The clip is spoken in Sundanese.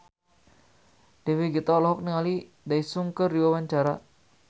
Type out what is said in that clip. Dewi Gita olohok ningali Daesung keur diwawancara